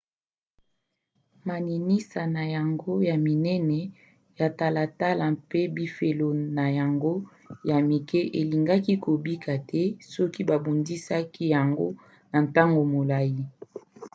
maninisa na yango ya minene ya talatala mpe bifelo na yango ya mike elingaki kobika te soki babundisaki yango na ntango molai